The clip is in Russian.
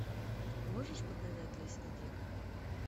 можешь показать лиз и дик